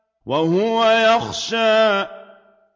وَهُوَ يَخْشَىٰ